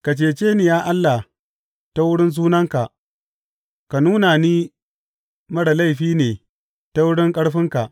Ka cece ni, ya Allah ta wurin sunanka; ka nuna ni marar laifi ne ta wurin ƙarfinka.